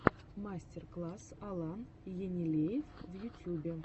мастер класс алан енилеев в ютьюбе